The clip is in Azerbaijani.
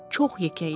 Çox yekə idi.